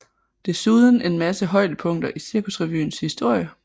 Desuden en masse højdepunkter i Cirkusrevyens historie